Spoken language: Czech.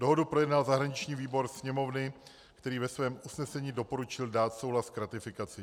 Dohodu projednal zahraniční výbor Sněmovny, který ve svém usnesení doporučil dát souhlas k ratifikaci.